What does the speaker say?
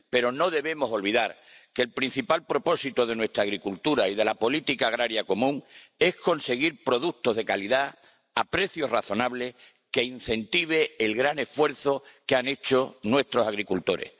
Pero no debemos olvidar que el principal propósito de nuestra agricultura y de la política agrícola común es conseguir productos de calidad a precios razonables que incentiven el gran esfuerzo que hacen nuestros agricultores.